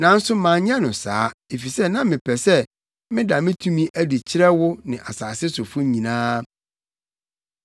Nanso manyɛ no saa, efisɛ na mepɛ sɛ meda me tumi adi kyerɛ wo ne asase sofo nyinaa.